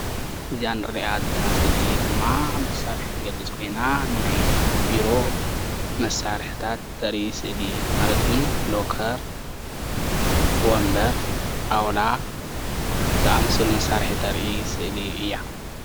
እዚኣ ንሪኣ ዘለና ስእሊ ድማ መሳርሒ ትገልፅ ኮይና ናይ ቢሮ መሳርሕታት ተርኢ ስእሊ ማለት እዉን ሎከር ወምበር ጣዉላ ዝኣመሰሉ መሳርሒ ተርኢ ስእሊ እያ